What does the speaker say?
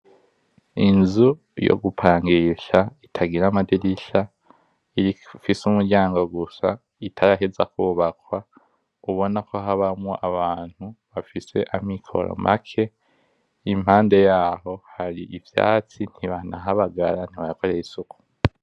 Inzu yo gupangisha itagira amadirisha, ifise umuryango gusa, itaraheza kubakwa ubona ko habamwo abantu bafise amikoro make. Impande yaho hari ivyatsi ntibanahabagara ntibahakorera isuku.